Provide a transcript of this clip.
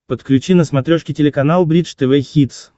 подключи на смотрешке телеканал бридж тв хитс